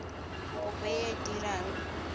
kopo e a e dirang